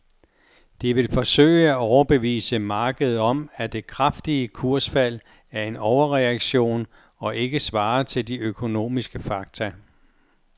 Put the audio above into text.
De vil forsøge at overbevise markedet om, at det kraftige kursfald er en overreaktion og ikke svarer til de økonomiske fakta.